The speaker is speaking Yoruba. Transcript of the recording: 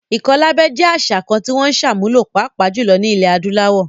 Ìkọlábẹ jẹ́ àṣà kan tí wọ́n ń sàmúlò, pàápàá jùlọ ní ilẹ̀ adúláwò